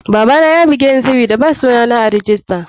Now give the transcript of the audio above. Babana yabugeni sabida ba suna na a rijista.